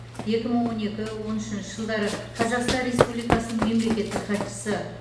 екі мың он екі он үшінші жылдары қазақстан республикасының мемлекеттік хатшысы